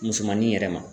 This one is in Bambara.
Musomanin yɛrɛ ma